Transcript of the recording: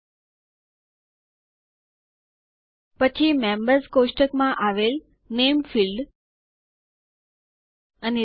પછી members table સભ્યોના કોષ્ટક માં આવેલ નામે ફીલ્ડ નામ ક્ષેત્ર